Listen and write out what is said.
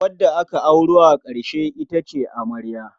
Wadda aka auro a ƙarshe ita ce amarya.